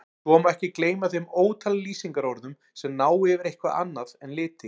Svo má ekki gleyma þeim ótal lýsingarorðum sem ná yfir eitthvað annað en liti.